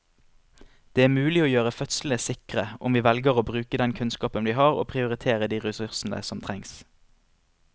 Det er mulig å gjøre fødslene sikre om vi velger å bruke den kunnskapen vi har og prioritere de ressursene som trengs.